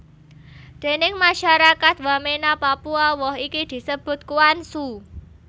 Déning masyarakat Wamena Papua woh iki disebut kuansu